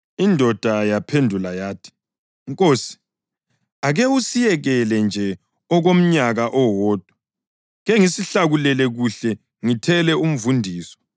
Indoda yaphendula yathi, ‘Nkosi, ake usiyekele nje okomnyaka owodwa, kengisihlakulele kuhle ngithele umvundiso.